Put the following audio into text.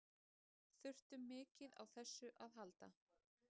Þurftum mikið á þessu að halda.